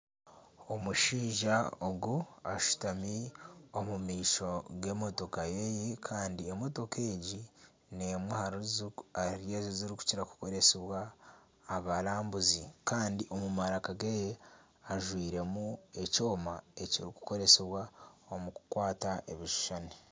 Omushaija ogu ashutami omu maisho g'emotoka yeye ,Kandi emotoka egi nemwe ahari ezo ekirikukira kukoresibwa abarambuzi Kandi omu maraka geye ajwairemu ekyoma ekirikukoresibwa omu kukwata ebishushani.